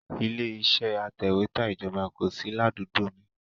Ilé iṣẹ́ atẹ̀wẹ́tà ìjọba kò sí ládùúgbò mi